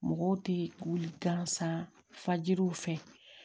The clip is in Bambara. Mɔgɔw tɛ wuli gansan fajiriw fɛ